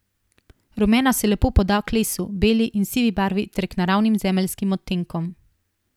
Rumena se lepo poda k lesu, beli in sivi barvi ter k naravnim zemeljskim odtenkom.